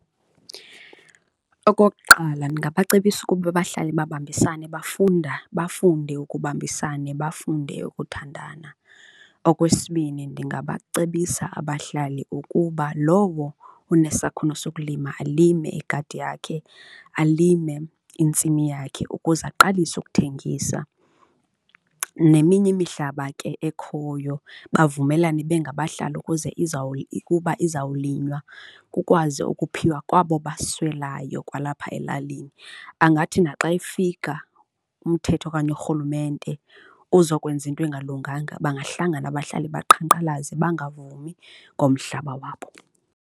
Okokuqala, ndingabacebisa ukuba bahlale babambisene bafunda, bafunde ukubambisana, bafunde ukuthandana. Okwesibini, ndingabacebisa abahlali ukuba lowo unesakhono sokulima, alime igadi yakhe, alime intsimi yakhe ukuze aqalise ukuthengisa. Neminye imihlaba ke ekhoyo bavumelane bengabahlali ukuze ukuba izawulinywa, kukwazi ukuphiwa kwabo baswelayo kwalapha elalini, angathi naxa efika umthetho okanye urhulumente uzokwenza into engalunganga bangahlangana abahlali, baqhankqalaze, bangavumi ngomhlaba wabo.